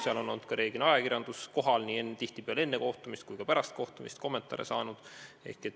Seal on reeglina ka ajakirjandus kohal olnud ja tihtipeale nii enne kohtumist kui ka pärast kohtumist kommentaare saanud.